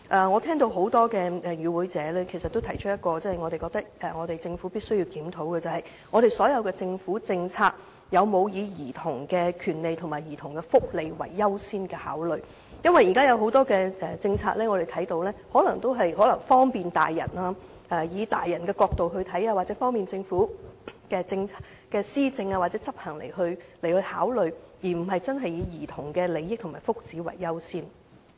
我聽到多位與會者也提出了我們認為政府必須檢討的問題，就是政府的所有政策有否把兒童權利和福利列作優先考慮，因為我們看到現時可能有很多政策均以利便成年人的角度出發，又或是以利便政府施政或政策執行作考慮，而非真正以兒童的利益和福祉為依歸。